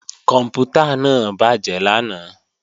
Kòǹpútà náà bàjé lánàá